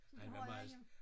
Så det har jeg hjemme